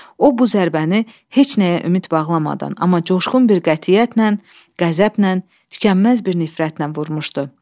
O bu zərbəni heç nəyə ümid bağlamadan, amma coşğun bir qətiyyətlə, qəzəblə, tükənməz bir nifrətlə vurmuşdu.